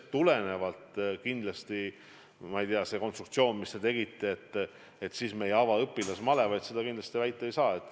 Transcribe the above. Aga kindlasti ei saa väita, et me ei ava õpilasmalevaid.